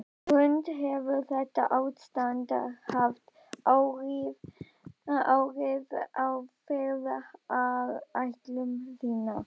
Hrund: Hefur þetta ástand haft áhrif á ferðaáætlun þína?